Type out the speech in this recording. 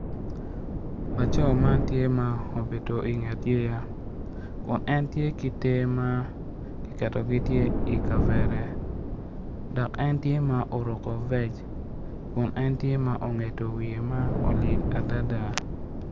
Laco man tye ma obedo i nget yeya kun entye ki ter ma ki keto gi tye i kavera dok en tye ma oruko vec kun entye ma ongedo wiye ma olil adada.